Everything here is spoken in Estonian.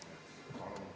Palun!